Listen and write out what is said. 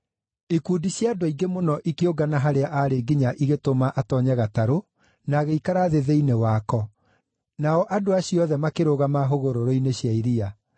Ikundi cia andũ aingĩ mũno ikĩũngana harĩa aarĩ nginya ĩgĩtũma atoonye gatarũ na agĩikara thĩ thĩinĩ wayo, nao andũ acio othe makĩrũgama hũgũrũrũ-inĩ cia iria.